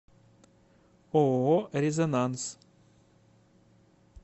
ооо резонанс